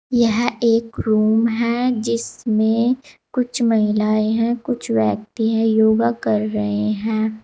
यह एक रूम है जिसमें कुछ महिलाएं हैं कुछ व्यक्ति हैं योगा कर रहे हैं।